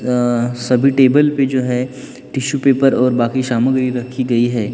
अह सभी टेबल पे जो है टिशू पेपर और बाकी सामग्री रखी गई है।